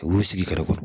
U b'u sigi kɛrɛfɛ